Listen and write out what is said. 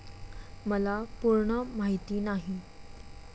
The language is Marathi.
मला पूर्ण माहिती नाही.